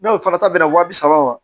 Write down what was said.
N'o fana ta bɛna waa bi saba wa